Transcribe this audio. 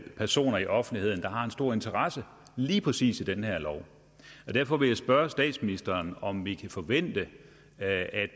personer i offentligheden der har en stor interesse i lige præcis den her lov derfor vil jeg spørge statsministeren om vi kan forvente at